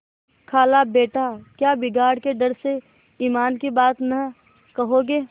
खालाबेटा क्या बिगाड़ के डर से ईमान की बात न कहोगे